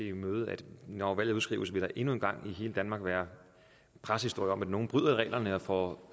imødese at når valget udskrives vil der endnu en gang i hele danmark være pressehistorier om at nogle bryder reglerne og får